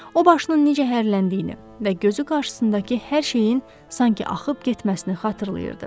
O başının necə hərləndiyini və gözü qarşısındakı hər şeyin sanki axıb getməsini xatırlayırdı.